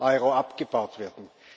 EUR abgebaut werden.